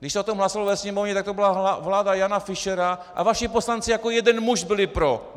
Když se o tom hlasovalo ve Sněmovně, tak to byla vláda Jana Fischera a vaši poslanci jako jeden muž byli pro.